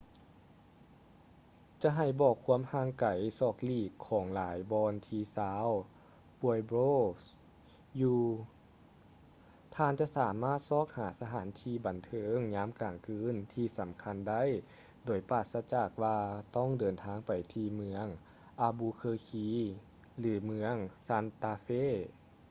ຈະໃຫ້ບອກຄວາມຫ່າງໄກສອກຫຼີກຂອງຫຼາຍບ່ອນທີ່ຊາວ ປວຍໂບຼສ໌ pueblos ຢູ່ ທ່ານຈະບໍ່ສາມາດຊອກຫາສະຖານບັນເທີງຍາມກາງຄືນທີ່ສຳຄັນໄດ້ ໂດຍປາສະຈາກວ່າຕ້ອງເດີນທາງໄປທີ່ເມືອງ ອາບູເຄີຄີ albuquerque ຫຼື ເມືອງ ຊານຕາເຟ່ santa fe